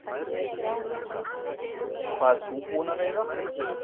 Helga: Og hvað ert þú búin að veiða?